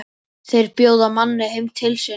Þeir bjóða manni heim til sín.